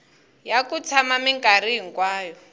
ya ku tshama minkarhi hinkwayo